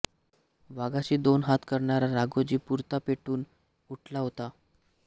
वाघाशी दोन हात करणारा राघोजी पुरता पेटून उठला होता